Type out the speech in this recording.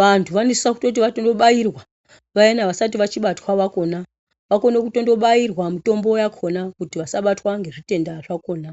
.Vantu vanosisa kuti vatondobayirwa, vayana vasat vachibatwa vakona, vakono kutondobairwa mutombo yakona kuti vasabatwa ngezvitenda zvakona.